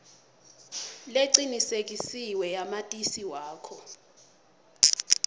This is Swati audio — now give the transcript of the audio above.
lecinisekisiwe yamatisi wakho